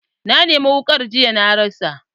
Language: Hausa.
Na nemi wukar jiya na rasa.